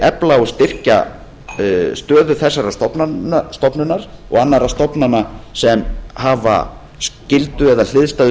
efla og styrkja stöðu þessarar stofnunar og annarra stofnana sem hafa skyldu eða hliðstæðu